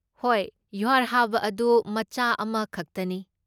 ꯍꯣꯏ, ꯌꯨꯍꯥꯔ ꯍꯥꯕ ꯑꯗꯨ ꯃꯆꯥ ꯑꯃ ꯈꯛꯇꯅꯤ꯫